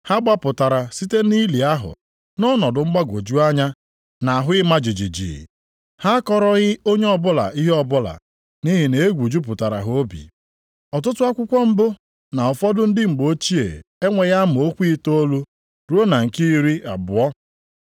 Ha gbapụtara site nʼili ahụ, nʼọnọdụ mgbagwoju anya na ahụ ịma jijiji. Ha akọrọghị onye ọbụla ihe ọbụla, nʼihi na egwu jupụtara ha obi. [Ọtụtụ akwụkwọ mbụ na ụfọdụ ndị mgbe ochie enweghị amaokwu itoolu ruo na nke iri abụọ 9–20.]